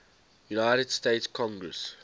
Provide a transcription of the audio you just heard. united states congress